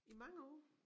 I mange år?